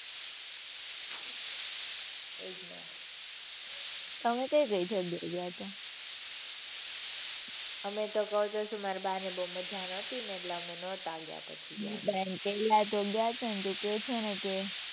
એ જ ને. તમે કઈ કઈ જગ્યા એ ગયા હતા. અમે કવ તો છું ને માર બા ને બહુ મજા નોતી ને એટલે અમે નહોતા ગયા પછી ગયા તા. કેરલા તો ગયા તા ને તું કે છો ને કે